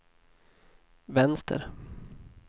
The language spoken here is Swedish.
vänster